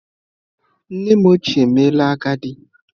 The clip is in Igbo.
Nnem ochie emeela agadi.